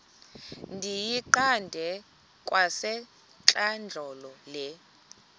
ndiyiqande kwasentlandlolo le